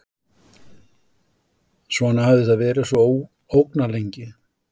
Svona hafði þetta verið svo ógnarlengi.